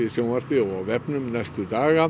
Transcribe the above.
sjónvarpi og á vefnum næstu daga